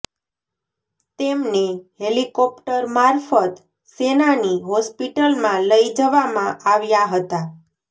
તેમને હેલિકોપ્ટર મારફત સેનાની હોસ્પિટલમાં લઈ જવામાં આવ્યાં હતાં